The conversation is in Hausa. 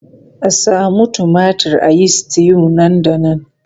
A samu tumatir a yi stew nan da nan!